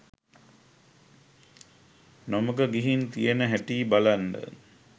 නොමග ගිහින් තියෙන හැටි බලන්න.